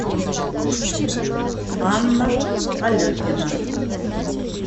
анна алехина